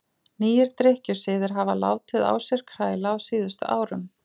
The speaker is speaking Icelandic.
Nýir drykkjusiðir hafa látið á sér kræla á síðustu árum.